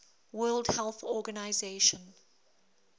world health organization